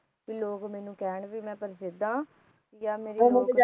ਭੀ ਲੋਗ ਮੈਨੂੰ ਕਹਿਣ ਕੇ ਮੈ ਪ੍ਰਸਿੱਧ ਹੈ ਜਾ ਮੇਰੀ